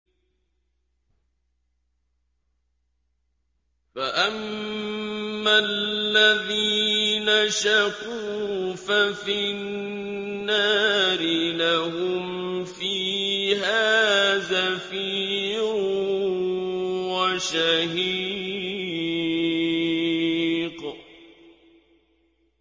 فَأَمَّا الَّذِينَ شَقُوا فَفِي النَّارِ لَهُمْ فِيهَا زَفِيرٌ وَشَهِيقٌ